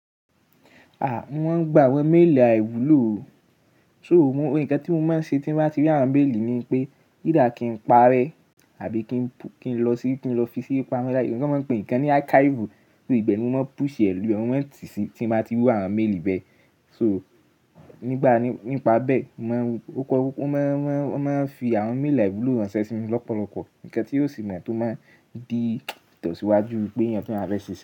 À, mo maa ń gba àwọn mail àìwúlò o. So, ohun kan tí mo máa ń ṣe tí mo bá ti rí àwọn mail ni pé, either kí n parẹ́ àbí kí n lọ sí, kí n lọ fi sí pamọ́ láyé. Wọ́n ma ń pè nǹkan ní archive, i be ni mo máa ń push ẹ ló mo mo n ti sí tí mo bá ti rí iru àwọn mail bẹ. So, nígbà nípa bẹ, mo máa ń, ó máa o maa ń fi àwọn mail àìwúlò ránṣẹ́ sí mi lọ́pọ̀lọpọ̀. Ǹkan tí yóò sì mọ̀ tó máa di ìtesí iwájú pé èèyàn tí wọ́n bá fẹ́ ṣe ṣẹ́